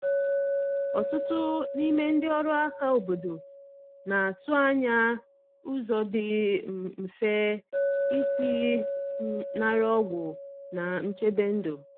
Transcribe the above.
Ọtụtụ n’ime ndị ọrụ aka obodo na atụ anya ụzọ dị um mfe isi um nara ọgwụ na nchebe ndu.